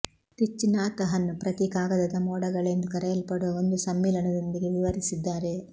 Thich Nhat Hanh ಪ್ರತಿ ಕಾಗದದ ಮೋಡಗಳೆಂದು ಕರೆಯಲ್ಪಡುವ ಒಂದು ಸಮ್ಮಿಲನದೊಂದಿಗೆ ವಿವರಿಸಿದ್ದಾರೆ